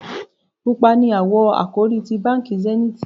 Pupa ní awọ àkòrí tí bánkì Zenith